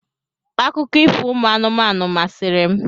Akụkọ ifo ụmụ anụmanụ masịrị m.